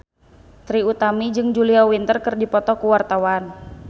Trie Utami jeung Julia Winter keur dipoto ku wartawan